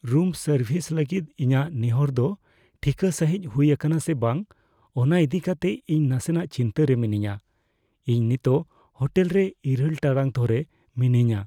ᱨᱩᱢ service ᱞᱟᱹᱜᱤᱫ ᱤᱧᱟᱹᱜ ᱱᱮᱦᱚᱨ ᱫᱚ ᱴᱷᱤᱠᱟᱹ ᱥᱟᱹᱦᱤᱡ ᱦᱩᱭ ᱟᱠᱟᱱᱟᱥᱮ ᱵᱟᱝ ᱚᱱᱟ ᱤᱫᱤ ᱠᱟᱛᱮ ᱤᱧ ᱱᱟᱥᱮᱱᱟᱜ ᱪᱤᱱᱛᱟᱹ ᱨᱮ ᱢᱤᱱᱟᱹᱧᱟ ᱾ ᱤᱧ ᱱᱤᱛᱚᱜ ᱦᱳᱴᱮᱞ ᱨᱮ ᱘ ᱴᱟᱲᱟᱜ ᱫᱷᱚᱨᱮ ᱢᱤᱱᱟᱹᱧᱟ ᱾